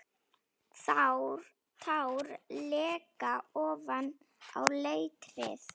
Tár leka ofan á letrið.